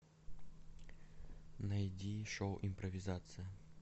найди шоу импровизация